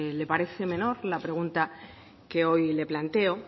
le parece menor la pregunta que hoy le planteo